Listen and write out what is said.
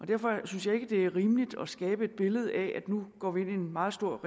derfor synes jeg ikke at det er rimeligt at skabe et billede af at nu går vi ind i et meget stort